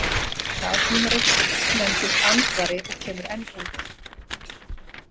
Það tímarit nefndist Andvari og kemur enn út.